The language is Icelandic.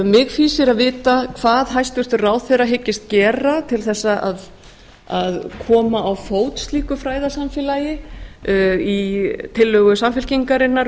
mig fýsir að vita hvað hæstvirtur ráðherra hyggist gera til þess að koma á fót slíku fræðasamfélagi í tillögu samfylkingarinnar